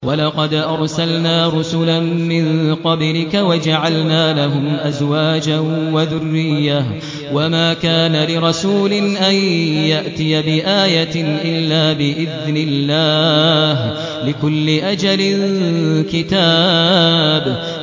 وَلَقَدْ أَرْسَلْنَا رُسُلًا مِّن قَبْلِكَ وَجَعَلْنَا لَهُمْ أَزْوَاجًا وَذُرِّيَّةً ۚ وَمَا كَانَ لِرَسُولٍ أَن يَأْتِيَ بِآيَةٍ إِلَّا بِإِذْنِ اللَّهِ ۗ لِكُلِّ أَجَلٍ كِتَابٌ